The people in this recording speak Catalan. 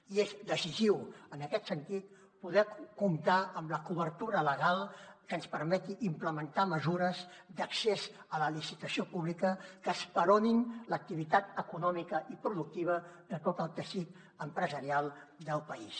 i és decisiu en aquest sentit poder comptar amb la cobertura legal que ens permeti implementar mesures d’accés a la licitació pública que esperonin l’activitat econòmica i productiva de tot el teixit empresarial del país